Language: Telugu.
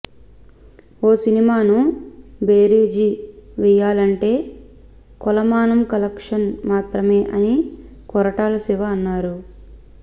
ఓ సినిమాను బేరీజు వేయాలంటే కొలమానం కలెక్షన్స్ మాత్రమే అని కొరటాల శివ అన్నారు